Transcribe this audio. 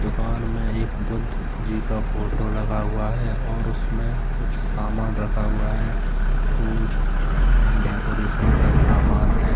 दुकान में एक बुद्ध जी का फोटो लगा हुआ है और उसमें कुछ सामान रखा हुआ है फूल एण्ड डेकोरेशन का सामान है।